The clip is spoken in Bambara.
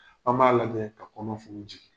An b'a lajɛ ka kɔnɔ funu jigin